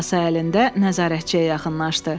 Kasa əlində nəzarətçiyə yaxınlaşdı.